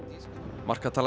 markatala